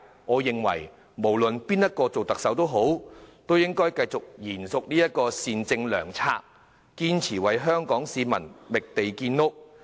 我認為無論誰人擔任下任特首，都應延續這善政良策，堅持為香港市民覓地建屋。